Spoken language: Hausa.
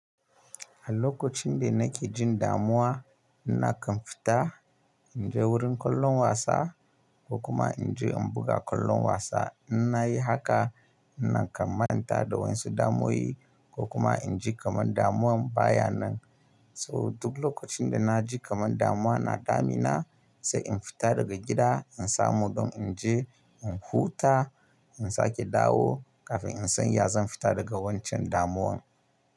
A lokacin da nake jin damuwa, nakan fita in je wurin kallon wasa ko kuma in je in buga kallon wasa. In na yi haka, nakan manta da wayansu su damuwoyi ko kuma in ji kamar damuwan baya nan. So duk lokacin da na ji kamar damuwa na damina, sai in fita daga gida in samu don in je in huta, in sake dawo kafin in sanya ya zan fita daga wancan damuwan.